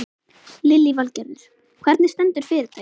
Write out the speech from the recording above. Lillý Valgerður: Hvernig stendur fyrirtækið?